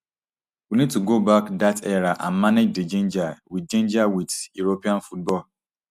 we need to go back dat era and manage di ginger wit ginger wit european football